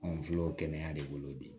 Anw filɛ o kɛnɛya de bolo bi